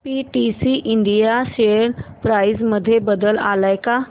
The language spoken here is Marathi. पीटीसी इंडिया शेअर प्राइस मध्ये बदल आलाय का